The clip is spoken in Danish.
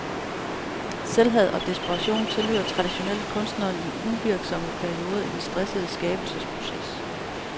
Selvhad og desperation tilhører traditionelt kunstneren i uvirksomme perioder i den stressende skabelsesproces.